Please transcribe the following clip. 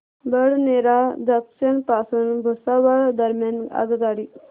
Badnera junction पासून भुसावळ दरम्यान आगगाडी